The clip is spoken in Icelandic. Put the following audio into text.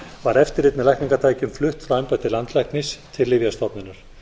var eftirlit með lækningatækjum flutt frá embætti landlæknis til lyfjastofnunar